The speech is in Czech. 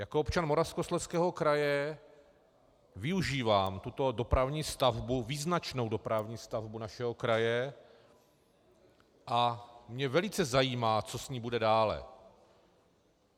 Jako občan Moravskoslezského kraje využívám tuto dopravní stavbu, význačnou dopravní stavbu našeho kraje, a mě velice zajímá, co s ní bude dále.